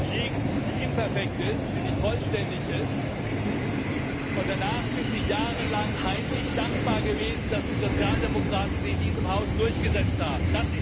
liegt, die nicht perfekt, nicht vollständig ist, und danach sind sie jahrelang heimlich dankbar gewesen, dass die Sozialdemokraten sie in diesem Haus durchgesetzt haben.